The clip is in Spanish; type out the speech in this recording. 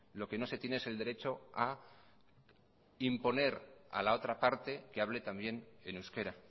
lo que no se tiene es el derecho a imponer a la otra parte que hable también en euskera